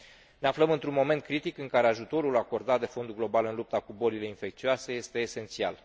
Ne aflăm într un moment critic, în care ajutorul acordat de Fondul Global în lupta cu bolile infecțioase este esențial.